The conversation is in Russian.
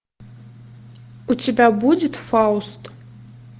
у тебя будет фауст